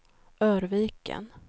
Örviken